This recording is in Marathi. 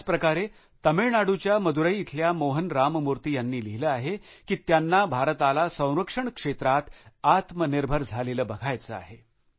त्याचप्रकारे तामिळनाडूच्या मदुराई इथल्या मोहन रामामूर्ती यांनी लिहिलं आहे की त्यांना भारताला संरक्षण क्षेत्रात आत्मनिर्भर झालेलं बघायचं आहे